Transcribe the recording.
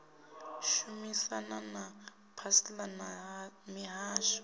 shumisana na pansalb na mihasho